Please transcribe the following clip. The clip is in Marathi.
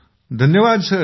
जी धन्यवाद